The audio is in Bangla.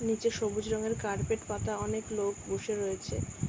নিচে সবুজ রঙের কার্পেট পাতা অনেক লোক বসে রয়েছে ।